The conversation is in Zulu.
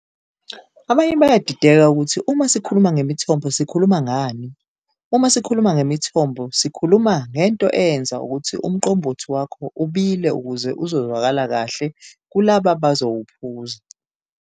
Abanye bayadideka ukuthi uma sikhuluma ngemithombo sikhuluma ngani, uma sikhuluma ngemithombo sikhuluma ngento eyenza ukuthi uMqombothi wakho ubile ukuze uzozwakala kahle kulaba abazowuphuza.